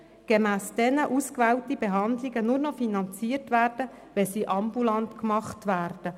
Gemäss diesen Listen werden ausgewählte Behandlungen nur noch finanziert, wenn sie ambulant vorgenommen werden.